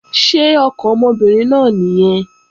Ṣé ọkàn ọmọbìnrin náà nìyẹn?